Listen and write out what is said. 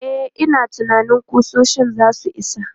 E, ina tunanin ƙusoshin za su isa.